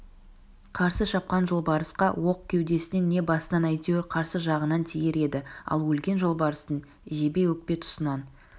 қарсы шапқан жолбарысқа оқ кеудесінен не басынан әйтеуір қарсы жағынан тиер еді ал өлген жолбарыстың жебе өкпе тұсынан